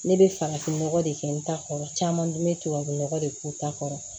Ne bɛ farafinnɔgɔ de kɛ n ta kɔrɔ caman bɛ tubabunɔgɔ de k'u ta kɔrɔ